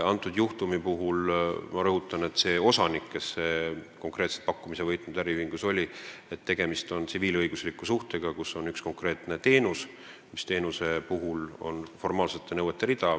Kõnealuse juhtumi puhul ma rõhutan, et konkreetse, pakkumise võitnud äriühingu osaniku puhul on tegemist tsiviilõigusliku suhtega, kus osutatakse ühte konkreetset teenust, millele on hulk formaalseid nõudeid.